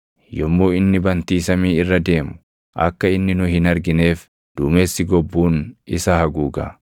Yommuu inni bantii samii irra deemu, akka inni nu hin argineef duumessi gobbuun isa haguuga.’